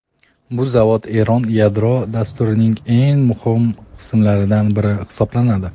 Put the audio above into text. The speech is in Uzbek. Bu zavod Eron yadro dasturining eng muhim qismlaridan biri hisoblanadi.